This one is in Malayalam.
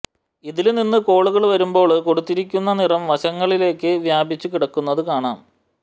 ഇതില് നിന്നും കോളുകള് വരുമ്പോള് കൊടുത്തിരിക്കുന്ന നിറം വശങ്ങളില് വ്യാപിച്ചു കിടക്കുന്നത് കാണാം